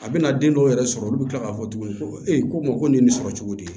A bɛna den dɔw yɛrɛ sɔrɔ olu bɛ tila k'a fɔ tuguni ko ee ko nin ye nin sɔrɔ cogo di